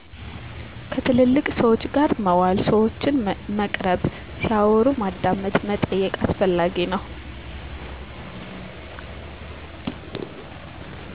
ከትልልቅ ሰወች ጋር መዋል ሰወችን መቅረብ ሲያወሩ ማዳመጥ መጠየቅ አስፈላጊ ነዉ።